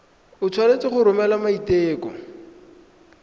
o tshwanetse go romela maiteko